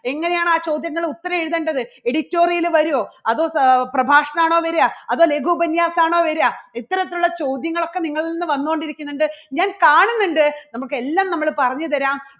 എങ്ങനെയാണ് ആ ചോദ്യങ്ങളെ ഉത്തരം എഴുതേണ്ടത്? editorial വരുവോ? അതോ പ്രഭാഷണം ആണോ വരിക അതോ ലഘു ഉപന്യാസം ആണോ വരിക ഇത്തരത്തിൽ ഉള്ള ചോദ്യങ്ങളൊക്കെ നിങ്ങളിൽ നിന്ന് വന്നുകൊണ്ടിരിക്കുന്നുണ്ട്. ഞാൻ കാണുന്നുണ്ട് നമുക്ക് എല്ലാം നമ്മള് പറഞ്ഞുതരാം.